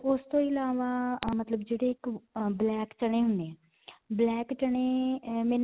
ਤੇ ਉਸ ਤੋਂ ਅਲਾਵਾ ਅਅ ਮਤਲਬ ਜਿਹੜੇ ਇਕ ਅਅ black ਚਣੇ ਹੁੰਦੇ ਆ black ਚਣੇ ਮੈਨੂੰ